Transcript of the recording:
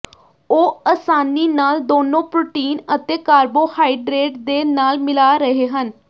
ਉਹ ਆਸਾਨੀ ਨਾਲ ਦੋਨੋ ਪ੍ਰੋਟੀਨ ਅਤੇ ਕਾਰਬੋਹਾਈਡਰੇਟ ਦੇ ਨਾਲ ਮਿਲਾ ਰਹੇ ਹਨ